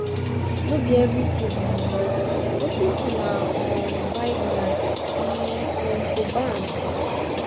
no bi everitin bi moni but if una um vibe mad e um go bam